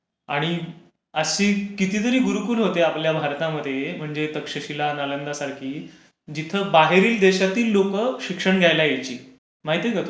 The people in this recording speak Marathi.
आणि अशी कितीतरी गुरुकुल होती आपल्या भारतामध्ये म्हणजे तक्षशीला, नालंदासारखी. जिथे बाहेरील देशातील लोकं शिक्षण घ्यायला यायची. माहीत आहे का तुला?